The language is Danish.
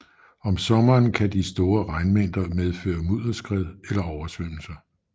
Om sommeren kan de store regnmængder medføre mudderskred eller oversvømmelser